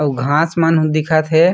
अउ घास मन दिखत हे।